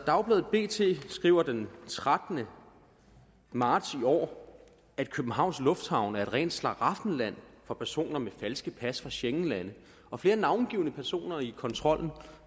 dagbladet bt skriver den trettende marts i år at københavns lufthavn er et rent slaraffenland for personer med falske pas fra schengenlande og flere navngivne personer i kontrollen